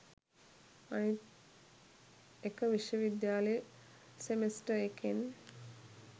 අනිත් එක විශ්ව විද්‍යාලෙ සෙමෙස්ටර් එකෙන්